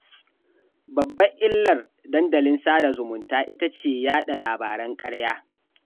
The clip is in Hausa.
Babbar illar dandalin sada zumunta ita ce yaɗa labaran ƙarya